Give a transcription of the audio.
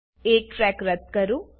એક ટ્રેક રદ્દ કરો